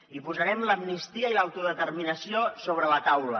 i posarem l’amnistia i l’autodeterminació sobre la taula